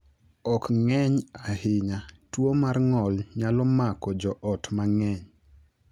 Ok ng’eny ahinya, tuwo mar ng’ol nyalo mako jo ot mang’eny.